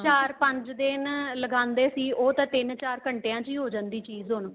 ਚਾਰ ਪੰਜ ਦਿਨ ਲਗਾਂਦੇ ਸੀ ਉਹ ਤਾਂ ਤਿੰਨ ਚਾਰ ਘੰਟਿਆਂ ਚ ਹੋ ਜਾਂਦੀ ਚੀਜ਼ ਹੁਣ